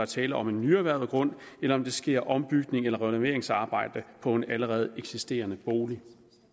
tale om en nyerhvervet grund eller om der sker ombygning eller renoveringsarbejde på en allerede eksisterende bolig